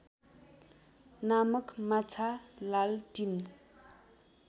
नामक माछा लालटिन